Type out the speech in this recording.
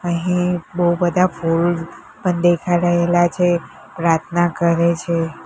અહીં બો બધા ફૂલ પણ દેખાય રહેલા છે પ્રાર્થના કરે છે.